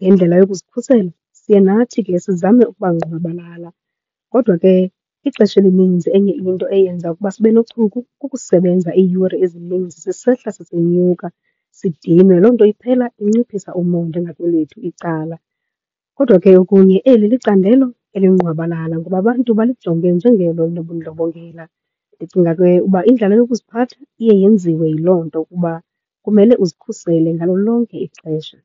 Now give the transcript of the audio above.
Ngendlela yokuzikhusela, siye nathi ke sizame ukuba ngqwabalala. Kodwa ke ixesha elininzi, enye into eyenza ukuba sibe nochuku kukusebenza iiyure ezininzi sisehla sisenyuka sidinwe. Loo nto iphela inciphisa umonde ngakwelethu icala. Kodwa ke okunye, eli licandelo elingqwabalala ngoba abantu balijonge njengelo linobundlobongela. Ndicinga ke uba indlela yokuziphatha iye yenziwe yiloo nto kuba kumele uzikhusele ngalo lonke ixesha.